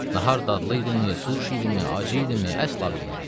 Nahar dadlı idimi, turş idimi, acı idimi, əsla bilmirəm.